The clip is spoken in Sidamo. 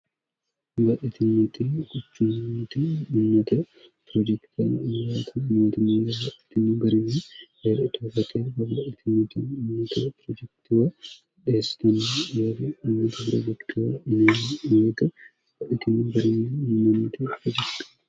ba itimt kucummtummt piroojektaann mgitin bariyi heer itoofte hbitimt manga piroojektowo dheestonni yeeri ummat hora goggowa inmga itin bariyi mimanoote rojekt